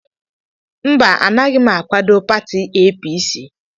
Mba, Anaghị m akwado pati APC.